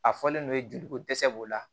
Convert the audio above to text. A fɔlen don joliko dɛsɛ b'o la